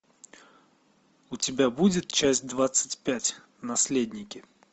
у тебя будет часть двадцать пять наследники